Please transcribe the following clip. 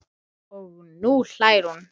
Og nú hlær hún.